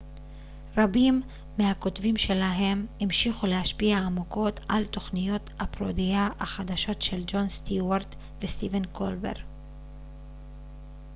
רבים מהכותבים שלהם המשיכו להשפיע עמוקות על תוכניות הפרודיה החדשות של ג'ון סטיוארט וסטיבן קולבר